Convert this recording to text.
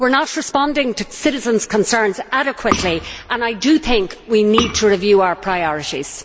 We are not responding to citizens' concerns adequately, and I think we need to review our priorities.